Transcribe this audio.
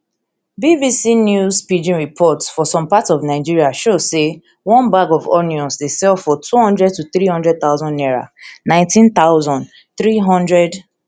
bbc news pidgin report for some parts of nigeria show say one bag of onions dey sell for two hundred to three hundred thousand naira nineteen thousand, three hundred and seventy-one